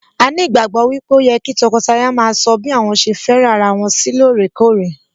A ní ìgbàgbọ́ wípé ó yẹ kí tọkọtaya maa sọ bí àwọn ṣe fẹ́ràn ara wọn sí lóòrèkórè